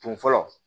Kun fɔlɔ